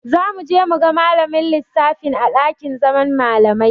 Za mu je mu ga malamin lissafin a ɗakin zaman malamai.